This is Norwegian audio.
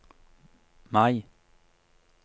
Mai